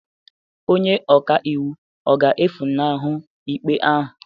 Onye ọka iwu ọ ga-efunahụ ikpe ahụ?